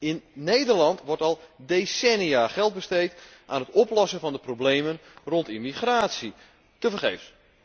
In Nederland wordt al decennia geld besteed aan het oplossen van de problemen rond immigratie. Tevergeefs.